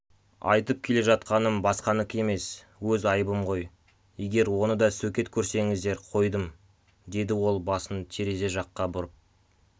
айтып келе жатқаным басқаныкі емес өз айыбым ғой егер оны да сөкет көрсеңіздер қойдым деді ол басын терезе жаққа бұрып